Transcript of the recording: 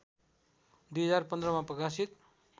२०१५ मा प्रकाशित